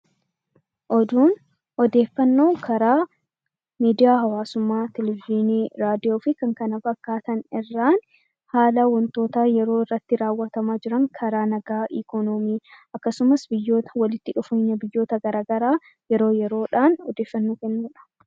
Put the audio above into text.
Oduun odeeffannoo karaa miidiyaa hawaasummaa Televizyiinii, Raadiyoo fi kan kana fakkaatan irraan haala wantoota yeroo irratti raawwatamaa jiran karaa nagaa, Ikoonoomii akkasumas biyyoota walitti dhufeenya biyyoota garaa garaa yeroo yeroo dhaan odeeffannoo kennu dha.